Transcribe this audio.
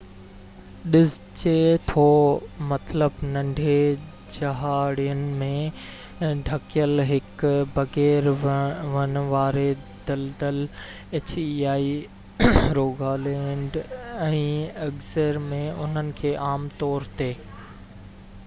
Rogaland ۽ Agder ۾ انهن کي عام طور تي hei سڏجي ٿو مطلب ننڍي جهاڙين ۾ ڍڪيل هڪ بغير ون واري دَلدَل